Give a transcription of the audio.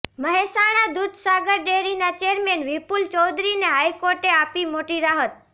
મહેસાણા દૂધસાગર ડેરીના ચેરમેન વિપુલ ચૌધરીને હાઈર્કોર્ટે અાપી મોટી રાહત